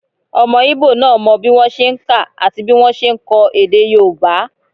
Ọmọ íbò náà mọ bí wọ́n ṣe n kà àti bí wọ́n ṣe n kọ èdè yóòbá